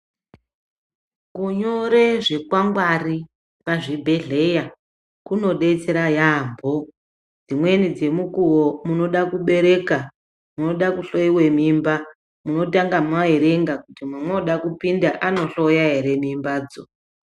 Kunyore zvikwangwari pazvibhedhleya kunodetsera yaampho, dzimweni dzemukuwo munoda kubereka, munoda kuhloiwa mimba, munotanga maerenga kuti mamooda kupinda anohloya ere mimbadzo.